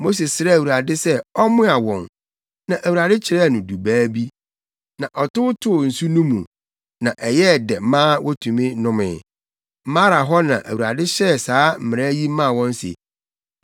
Mose srɛɛ Awurade sɛ ɔmmoa wɔn, na Awurade kyerɛɛ no dubaa bi. Na ɔtow too nsu no mu, na ɛyɛɛ dɛ maa wotumi nomee. Mara hɔ na Awurade hyɛɛ saa mmara yi maa wɔn se,